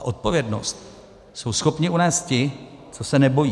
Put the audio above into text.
A odpovědnost jsou schopni unést ti, co se nebojí.